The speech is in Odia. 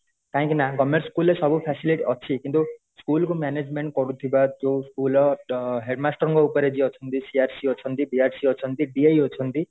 କାହିଁକି ନା government school ରେ ସବୁ facility ଅଛି କିନ୍ତୁ ସ୍କୁଲ କୁmanagement କରୁଥିବା ଯୋଉ school ର headmaster ଉପରେ ଯିଏ ଅଛନ୍ତି CRC ଅଛନ୍ତି DRC ଅଛନ୍ତି DI ଅଛନ୍ତି